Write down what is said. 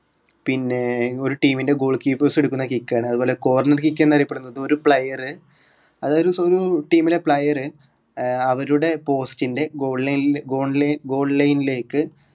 പിന്നെ ഒരു team ൻ്റെ goal keepers എടുക്കുന്ന kick ആണ് അതുപോലെ corner kick എന്നറിയപ്പെടുന്നത് ഒരു player അതായത് സ്വന്തം team ലെ player അവരുടെ post ൻ്റെ goal line goal line goal line ലേക്ക്